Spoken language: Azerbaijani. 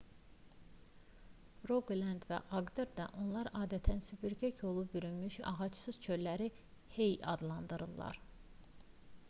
roqaland və aqderdə onlar adətən süpürgə kolu bürümüş ağacsız çölləri hei adlandırırlar